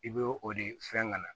I bɛ o de fɛn ŋana